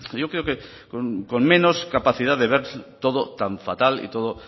con menos capacidad de ver todo tan fatal y todo